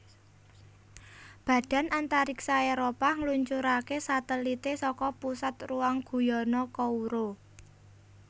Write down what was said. Badan Antariksa Éropah ngluncuraké satelité saka Pusat Ruang Guyana Kourou